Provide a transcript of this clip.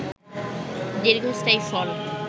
দীর্ঘস্থায়ী ফল